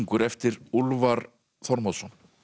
eftir Úlfar Þormóðsson